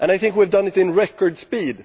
We have done it in record speed